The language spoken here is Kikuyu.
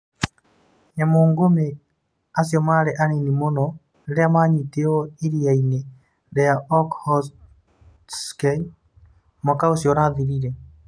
Nyamũngumĩ acio marĩ anini mũno rĩrĩa manyitirũo iria-inĩ rĩa Okhotsk mwaka ũcio ũrathirire.